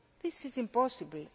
this is impossible.